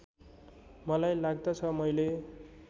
मलाई लाग्दछ मैले